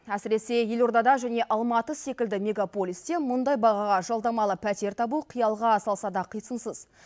әсіресе елордада және алматы секілді мегаполисте мұндай бағаға жалдамалы пәтер табу қиялға салса да қисынсыз